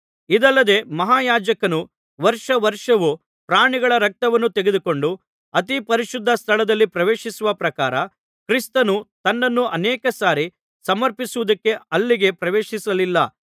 ಇದಲ್ಲದೆ ಮಹಾಯಾಜಕನು ವರ್ಷ ವರ್ಷವೂ ಪ್ರಾಣಿಗಳ ರಕ್ತವನ್ನು ತೆಗೆದುಕೊಂಡು ಅತಿ ಪರಿಶುದ್ಧ ಸ್ಥಳದಲ್ಲಿ ಪ್ರವೇಶಿಸುವ ಪ್ರಕಾರ ಕ್ರಿಸ್ತನು ತನ್ನನ್ನು ಅನೇಕ ಸಾರಿ ಸಮರ್ಪಿಸುವುದಕ್ಕೆ ಅಲ್ಲಿಗೆ ಪ್ರವೇಶಿಸಲಿಲ್ಲ